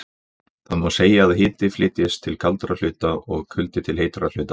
Þá má segja að hiti flytjist til kaldari hluta og kuldi til heitari hluta.